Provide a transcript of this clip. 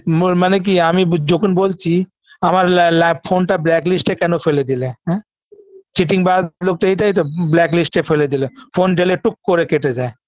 ম মানে কি আমি যখন বলছি আমার লা ল্যাপ phone -টা blacklist -এ কেন ফেলে দিলে হ্যাঁ চিটিংবাজ লোক তো এটাই তো black list -এ ফেলে দিলো phone দিলে টুক করে কেটে যায়